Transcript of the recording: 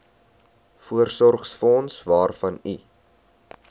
voorsorgsfonds waarvan u